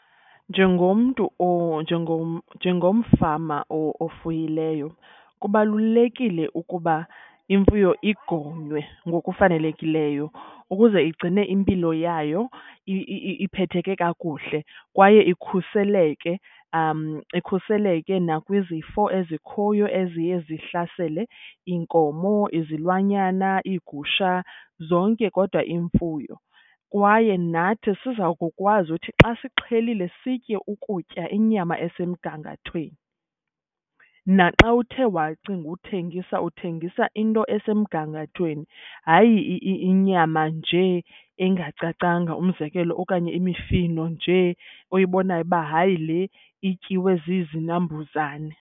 Njengomntu njengomfama ofuyileyo kubalulekile ukuba imfuyo igonywe ngokufanelekileyo ukuze igcine impilo yayo iphetheke kakuhle. Kwaye ikhuseleke ikhuseleke nakwizifo ezikhoyo eziye zihlasele iinkomo, izilwanyana, iigusha zonke kodwa iimfuyo. Kwaye nathi siza kukwazi uthi xa sixhelile sitye ukutya inyama esemgangathweni. Naxa uthe wacinga uthengisa uthengisa into esemgangathweni, hayi inyama njee engacacanga, umzekelo okanye imifino njee oyibonayo uba hayi le ityiwe zizinambuzane.